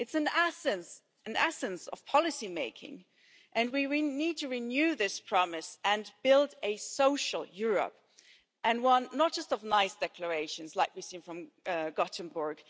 It's an essence of policy making, and we need to renew this promise and build a social Europe, and one not just of nice declarations like we've seen from Gothenburg.